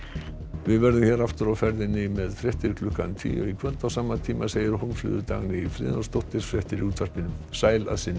við verðum hér aftur á ferðinni með fréttir klukkan tíu í kvöld á sama tíma segir Hólmfríður Dagný Friðjónsdóttir fréttir í útvarpinu sæl að sinni